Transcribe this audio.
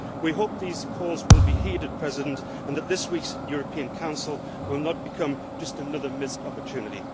We hope that these calls will be heeded, Mr President, and that this week's European Council will not become just another missed opportunity.